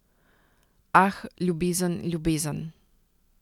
Ah, ljubezen, ljubezen ...